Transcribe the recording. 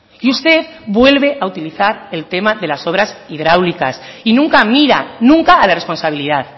y usted vuelve a utilizar el tema de las obras hidráulicas y nunca miran nunca a la responsabilidad